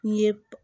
N ye